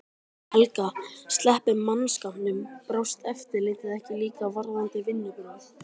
Helga: Sleppum mannskapnum. brást eftirlitið ekki líka varðandi vinnubrögð?